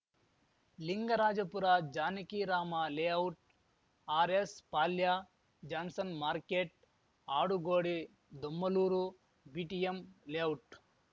Lingarajapura Janaki Rama layout R S Palya Johnson market Adugodi Domlur BTM layout